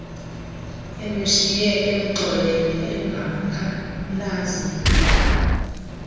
emshiye emxolele engamkhalazeli